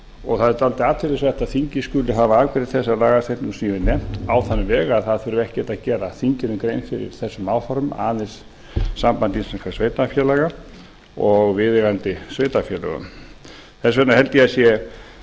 og það er dálítið athyglisvert að þingið skuli hafa afgreitt þessa lagasetningu sem ég hef nefnt á þann veg að ekkert þurfi að gera þinginu grein fyrir þessum áformum aðeins sambandi íslenskum sveitarfélaga og viðeigandi sveitarfélögum þess vegna held ég að það sé